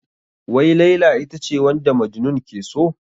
Wai Laila ita ce wanda Majnun ke so?